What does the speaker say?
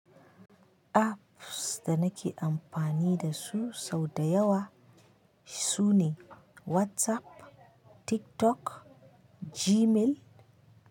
Apps da nake amfani da su sau da yawa sune WhatsApp, TikTok, Gmail.